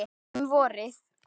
Um vorið